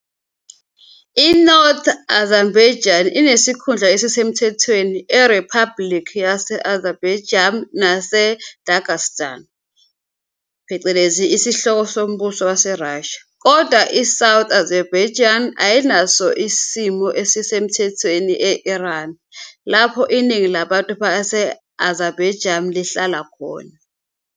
I-North Azerbaijani inesikhundla esisemthethweni eRiphabhulikhi yase-Azerbaijan nase-Dagestan, isihloko sombuso waseRussia, kodwa i-South Azerbaijani ayinaso isimo esisemthethweni e- Iran, lapho iningi labantu base-Azerbaijan lihlala khona.